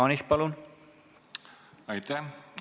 Aitäh!